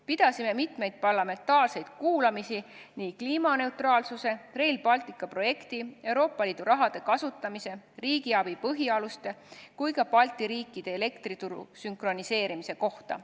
Pidasime mitmeid parlamentaarseid kuulamisi nii kliimaneutraalsuse, Rail Balticu projekti, Euroopa Liidu raha kasutamise, riigiabi põhialuste kui ka Balti riikide elektrituru sünkroniseerimise kohta.